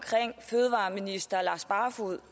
fødevareminister lars barfoed